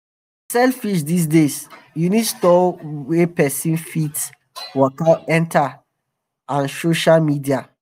to sell fish these days you need store wey pesin fit waka enter and sosha media.